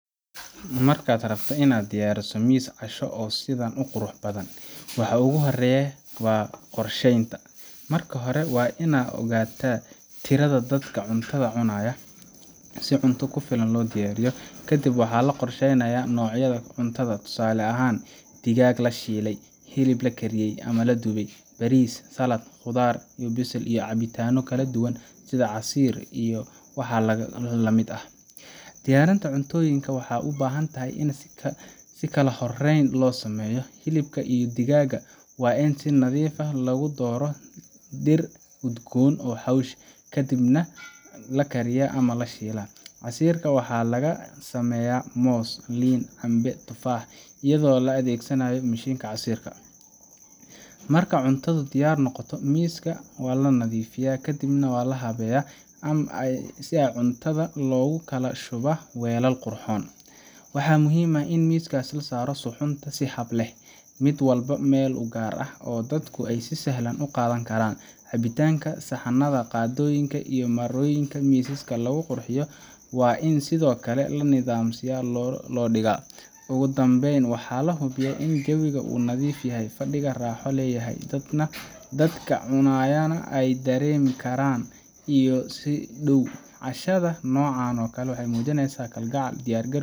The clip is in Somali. Marka aad rabto inaad diyaariso miis casho oo sidaan u qurux badan, waxa ugu horreeya waa qorsheynta. Marka hore waa in la ogaataa tirada dadka cuntada cunaya, si cunto ku filan loo diyaariyo. Kadib, waxaa la qorsheenayaa noocyada cuntada tusaale ahaan, digaag la shiilay, hilib la kariyey ama la dubay, bariis, saladh, khudaar la bisleeyey, iyo cabbitaanno kala duwan sida casiir miro lamid ah Diyaarinta cuntooyinkan waxay u baahan tahay in si kala horeyn leh loo sameeyo: hilibka iyo digaaga waa in la nadiifiyaa, lagu daro dhir udgoon iyo xawaash, kadibna lagu kariyaa ama la shiilaa. Casiirka waxaa laga sameeyaa moos, liin, cambe ama tufaax, iyadoo la adeegsado mishiinka casiirka. Marka cuntadu diyaar noqoto, miiska waa la nadiifiyaa, kadibna si habeysan ayaa cuntada loogu kala shubaa weelal qurxoon. Waxaa muhiim ah in miiska la saaro suxuunta si hab leh – mid walba meel u gaar ah, oo dadku si sahlan uga qaadan karaan. Cabitaanada, saxanada, qaadooyinka, iyo marooyinka miisaska lagu qurxiyo waa in sidoo kale si nidaamsan loo dhigo. Ugu dambeyn, waxaa la hubiyaa in jawiga uu nadiif yahay, fadhiga raaxo leeyahay, dadka cunayaana ay dareemaan karan iyo soo dhoweyn. Cashada noocan ah waxay muujinaysaa kalgacal, diyaargarow,